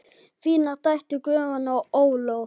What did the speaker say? Þínar dætur, Guðrún og Ólöf.